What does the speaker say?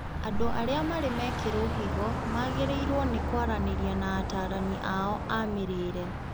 Andũ arĩa marĩ mekĩrwo higo magĩrĩirwo nĩ kwaranĩria na atarana ao a mĩrĩre